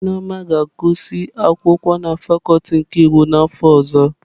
Nneoma ga-agụsị akwụkwọ na fakuti nke iwu n'afọ ọzọ.